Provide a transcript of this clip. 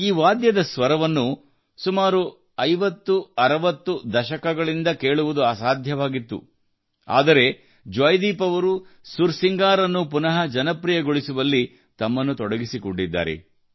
ಈ ವಾದ್ಯದ ಸ್ವರವನ್ನು ಸುಮಾರು 50 ಮತ್ತು 60 ದಶಗಳಿಂದ ಕೇಳುವುದು ಅಸಾಧ್ಯವಾಗಿತ್ತು ಆದರೆ ಜೊಯಿದೀಪ್ ಅವರು ಸುರ್ ಸಿಂಗಾರ್ ಅನ್ನು ಪುನಃ ಜನಪ್ರಿಯಗೊಳಿಸುವಲ್ಲಿ ತಮ್ಮನ್ನು ತೊಡಗಿಸಿಕೊಂಡಿದ್ದಾರೆ